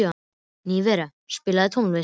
Minerva, spilaðu tónlist.